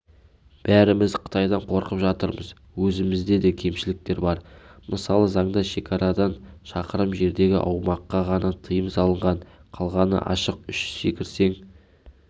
бәріміз қытайдан қорқып жатырмыз өзімізде де кемшіліктер бар мысалы заңда шекарадан шақырым жердегі аумаққа ғана тыйым салынған қалғаны ашық үш секірсең